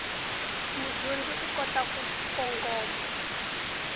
mudyondzi u kota ku kongoma